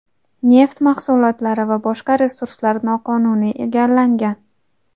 neft mahsulotlari va boshqa resurslar noqonuniy egallangan.